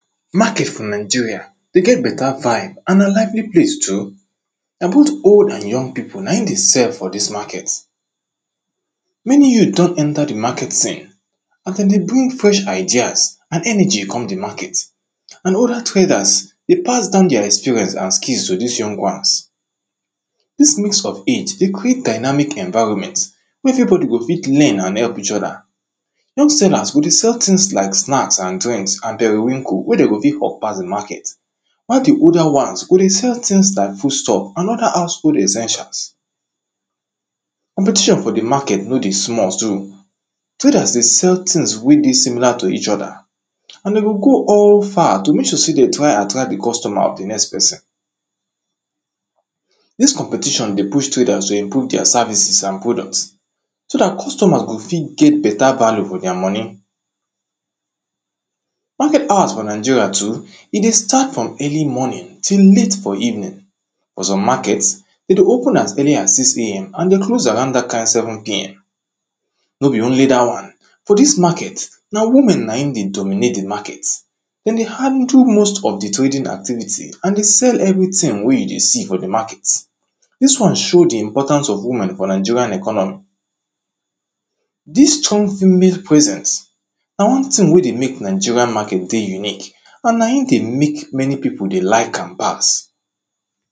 Market for nigeria dey get better vibe and na lively place too. na both old and young people na im dey sell for this market. Many youth don enter the market scene and dem dey bring fresh ideas and energy come the market. and other traders dey pass down their experience as keys to this young ones. This mix of age dey quick dynamic environment, everybody go fit learn and help each other. young sellers go dey sel things like snacks and drinks and perewinko wey dem go fit hawk pass the market, while the older ones go dey sell things like foodstuff and other household essentials Competition for the market nor dey small so, Traders dey sell things wey dey similar to each other and dem go go all far to make sure sey dem try attract the customer of the next person. This competition dey push traders to improve their services and product, so that customers go fit get better value for their money. Who get house for Nigeria too, e dey start from early morning till late for evening. For some market, e dey open as early as six am and e dey close around that kind seven pm No be only that one. For this market, na women na im dey dominate the market. Dem dey handle most of the trading activity, and dey sell everything wey you dey see for the market. This one show the importance of woman for nigerian economy This strong female presence, na one thing wey dey make Nigeria market dey unique, and na im dey make many people dey like am pass.